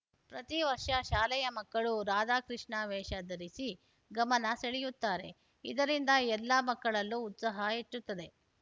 ಪ್ರತಿವರ್ಷ ಶಾಲೆಯ ಮಕ್ಕಳು ರಾಧಾ ಕೃಷ್ಣ ವೇಷಧರಿಸಿ ಗಮನ ಸೆಳೆಯುತ್ತಾರೆ ಇದರಿಂದ ಎಲ್ಲಾ ಮಕ್ಕಳಲ್ಲೂ ಉತ್ಸಾಹ ಹೆಚ್ಚುತ್ತದೆ